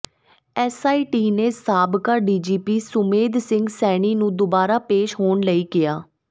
SIT ਨੇ ਸਾਬਕਾ DGP Sumedh Singh Saini ਨੂੰ ਦੁਬਾਰਾ ਪੇਸ਼ ਹੋਣ ਲਈ ਕਿਹਾ